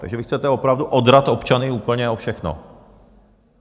Takže vy chcete opravdu odrat občany úplně o všechno.